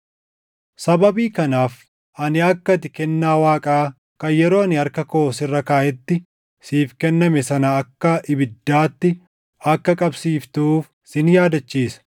Sababii kanaaf ani akka ati kennaa Waaqaa kan yeroo ani harka koo sirra kaaʼetti siif kenname sana akka ibiddaatti akka qabsiiftuuf sin yaadachiisa.